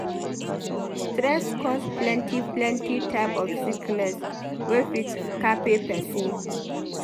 Stress cause plenty-plenty type of sickness wey fit kpai pesin.